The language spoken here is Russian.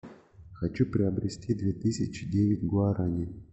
хочу приобрести две тысячи девять гуарани